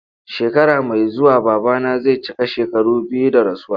Shekara mai zuwa babana zai cika shekaru biyu da rasuwa.